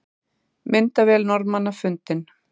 Myndavél Norðmannanna fundin